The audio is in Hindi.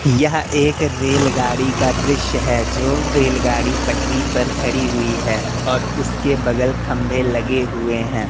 यह एक रेलगाड़ी का दृश्य है जो रेलगाड़ी पटरी पर खड़ी हुई है और उसके बगल खंबे लगे हुए हैं।